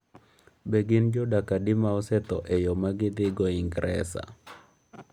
Be gin jodak adi ma osetho e yo ma gidhigo Ingresa?